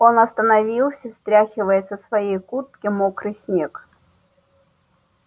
он остановился стряхивая со своей куртки мокрый снег